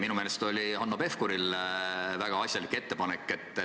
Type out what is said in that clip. Minu meelest oli Hanno Pevkuril väga asjalik ettepanek.